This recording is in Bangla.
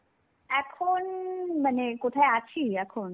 এখন, মানে কোথায় আছি এখন?